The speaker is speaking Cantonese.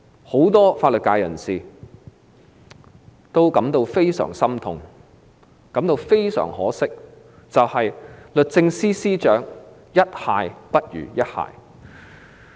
很多法律界人士感到非常心痛，非常可惜的是，律政司司長"一蟹不如一蟹"。